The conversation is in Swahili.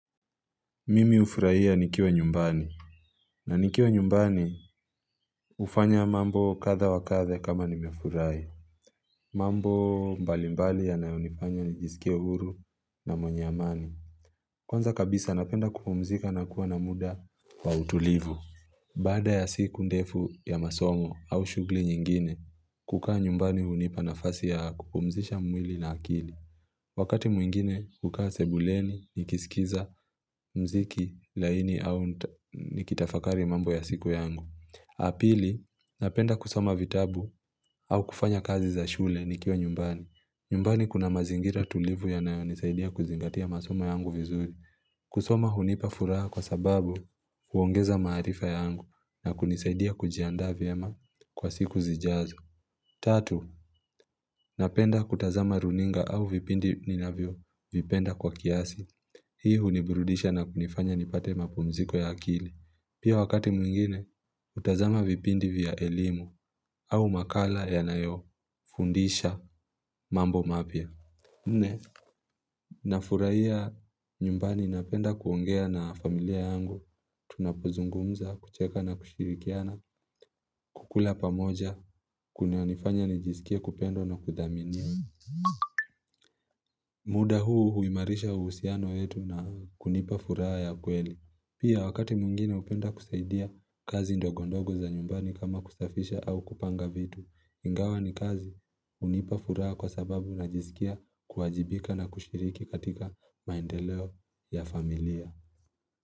Mimi ufurahia nikiwa nyumbani. Na nikiwa nyumbani hufanya mambo kadha wakadha kama nimefurahi. Mambo mbali mbali yanayo nifanya nijisikia uhuru na mwenye amani. Kwanza kabisa napenda kupumzika na kuwa na muda wa utulivu. Baada ya siku ndefu ya masomo au shugli nyingine, kukaa nyumbani hunipa na fasi ya kupumzisha mwili na akili. Wakati mwingine huka sebuleni, nikisikiza mziki laini au nikitafakari mambo ya siku yangu. Apili, napenda kusoma vitabu au kufanya kazi za shule nikiwa nyumbani. Nyumbani kuna mazingira tulivu yanayo nisaidia kuzingatia masoma yangu vizuri. Kusoma hunipa furaha kwa sababu huongeza marifa yangu na kunisaidia kujianda vyema kwa siku zijazo. Tatu, napenda kutazama runinga au vipindi ninavyo vipenda kwa kiasi. Hii hunibrudisha na kunifanya nipate mapumziko ya akili. Pia wakati mwingine, hutazama vipindi vya elimu au makala yanayo fundisha mambo mapya. Nafuraia nyumbani napenda kuongea na familia yangu, tunapo zungumuza, kucheka na kushirikiana, kukula pamoja, kuna nifanya nijisikiye kupendwa na kudhaminiwa. Muda huu huimarisha usiano wetu na kunipa fura ya kweli. Pia wakati mwngine hupenda kusaidia kazi ndogo ndogo za nyumbani kama kusafisha au kupanga vitu. Ingawa ni kazi unipa furaha kwa sababu najisikia kuwajibika na kushiriki katika maendeleo ya familia.